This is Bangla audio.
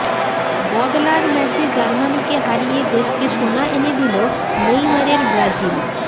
বদলার ম্যাচে জার্মানিকে হারিয়ে দেশকে সোনা এনে দিল নেইমারের ব্রাজিল